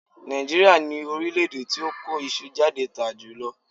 Nàìjíríà ni orílẹ̀-èdè tí ó kó iṣu jáde tà jùlọ.